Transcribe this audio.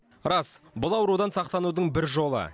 рас бұл аурудан сақтанудың бір жолы